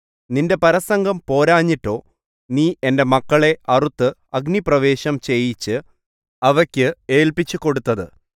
നിന്റെ പരസംഗം പോരാഞ്ഞിട്ടോ നീ എന്റെ മക്കളെ അറുത്ത് അഗ്നിപ്രവേശം ചെയ്യിച്ച് അവയ്ക്കു ഏല്പിച്ചുകൊടുത്തത്